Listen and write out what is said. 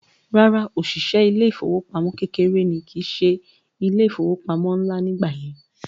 Rárá, òṣìṣẹ́ ilé ìfowópamọ́ kékeré ní kìí se ilé ìfowópamọ́ ńlá nígbà yẹn